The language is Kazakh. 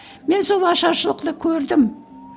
мен сол ашаршылықты көрдім